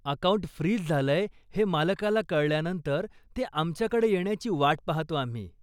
Account freeze झालंय हे मालकाला कळल्यानंतर, ते आमच्याकडे येण्याची वाट पाहतो आम्ही.